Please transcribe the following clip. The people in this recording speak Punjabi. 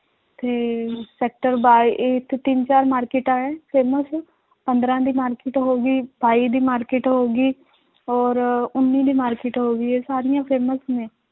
ਤੇ sector ਬਾ~ ਇੱਥੇ ਤਿੰਨ ਚਾਰ ਮਾਰਕਿਟਾਂ ਹੈ famous ਪੰਦਰਾਂ ਦੀ market ਹੋ ਗਈ ਸਤਾਈ ਦੀ market ਹੋ ਗਈ ਔਰ ਉੱਨੀ ਦੀ market ਹੋ ਗਈ ਇਹ ਸਾਰੀਆਂ famous ਨੇ